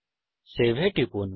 save এ টিপুন